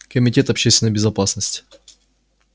комитет общественной безопасности